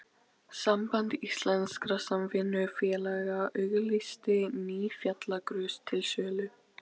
Samband íslenskra samvinnufélaga auglýsti ný fjallagrös til sölu.